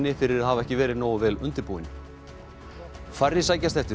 fyrir að hafa ekki verið nógu vel undirbúin færri sækjast eftir